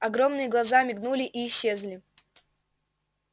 огромные глаза мигнули и исчезли